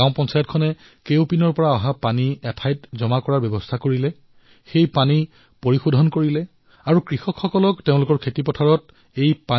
গাঁও পঞ্চায়তে সমগ্ৰ গাঁৱৰ পৰা অহা লেতেৰা পানী এটা স্থানত একত্ৰিত কৰি পৰিশোধন কৰা আৰম্ভ কৰিলে আৰু সেই পানী গাঁৱৰ কৃষকে জলসিঞ্চনৰ বাবে ব্যৱহাৰ কৰিবলৈ ধৰিলে